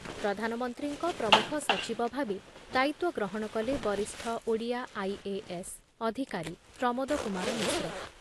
ପ୍ରଧାନମନ୍ତ୍ରୀଙ୍କ ପ୍ରମୁଖ ସଚିବ ଭାବେ ଦାୟିତ୍ଵ ଗ୍ରହଣ କଲେ ବରିଷ୍ଠ ଓଡ଼ିଆ ଆଇଏଏସ୍ ଅଧିକାରୀ ପ୍ରମୋଦ କୁମାର ମିଶ୍ର